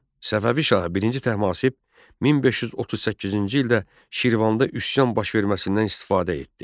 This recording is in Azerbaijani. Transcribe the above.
Səfəvi şahı I Təhmasib 1538-ci ildə Şirvanda üsyan baş verməsindən istifadə etdi.